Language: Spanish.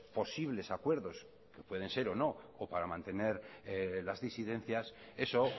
posibles acuerdos que pueden ser o no o para mantener las disidencias eso